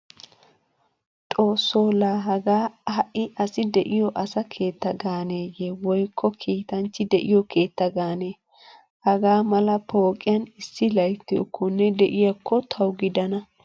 Xoosso laa hagaa ha'i asi de'iyo asa keetta gaaneeyye woykko kiitanchchi de'iyo keetta gaane. Hagaa mala pooqiyan issi layttiyokkonne de'iyaakko tawu gidana.